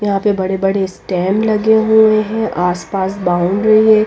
यहां पे बड़े-बड़े स्टेम लगे हुए हैं आसपास बाउंडरी हैं।